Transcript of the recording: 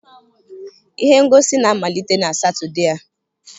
Ihe ngosi na-amalite na Satọde a.